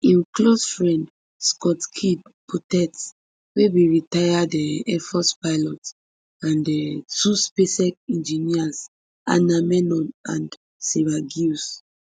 im close friend scott kidd poteet wey be retired um air force pilot and um two spacex engineers anna menon and sarah gillis